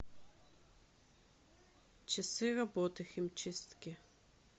часы работы химчистки